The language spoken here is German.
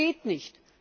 Und das geht nicht!